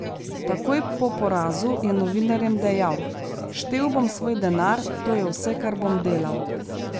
Takoj po porazu je novinarjem dejal: "Štel bom svoj denar, to je vse, kar bom delal.